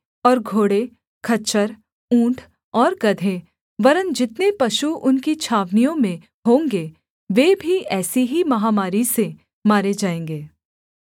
और घोड़े खच्चर ऊँट और गदहे वरन् जितने पशु उनकी छावनियों में होंगे वे भी ऐसी ही महामारी से मारे जाएँगे